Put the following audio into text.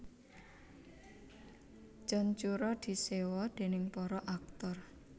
John Cura diséwa déning para aktor